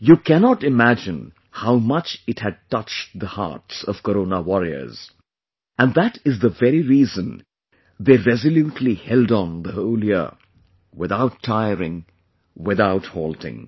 You cannot imagine how much it had touched the hearts of Corona Warriors...and that is the very reason they resolutely held on the whole year, without tiring, without halting